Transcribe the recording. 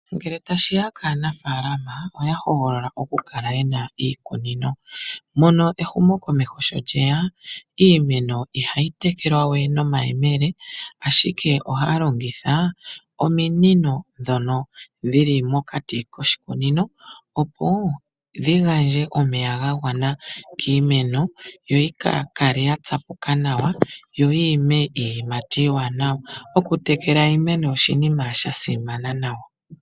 Ngele tashiya kaanafaalama oya hogolola oku kala yena iikunino mono ehumokomeho sho lyeya iimeno ihayi tekelwa we nomayemele ashike ohaya longitha ominino dhono dhili mokati koshikunino opo dhigandje omeya ga gwana kiimeno yo yi kakale ya tsapuka nawa yo yi ime iiyimati iiwanawa. Oku tekela iimeno oshinima sha simana nawa.